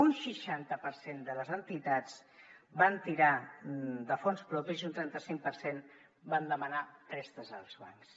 un seixanta per cent de les entitats van tirar de fons propis i un trenta cinc per cent van demanar préstecs als bancs